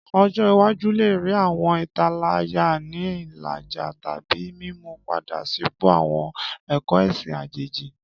Ọjọ iwaju le rii awọn italaya ni ilaja tabi mimu-pada sipo awọn ẹkọ ẹsin ajeji.